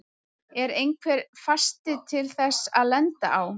Er einhver fasti til þess að lenda á?